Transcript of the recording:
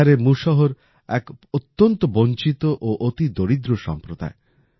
বিহারের মুশহর এক অত্যন্ত বঞ্চিত ও অতি দরিদ্র সম্প্রদায়